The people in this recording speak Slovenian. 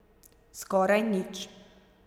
Skoraj nič.